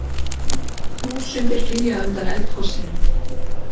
Þúsundir flýja undan eldgosinu